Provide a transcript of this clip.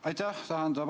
Aitäh!